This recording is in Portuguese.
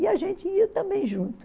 E a gente ia também junto.